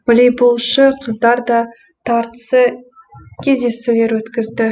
волейболшы қыздар да тартысы кездесулер өткізді